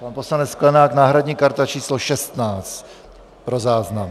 - Pan poslanec Sklenák, náhradní karta číslo 16 pro záznam.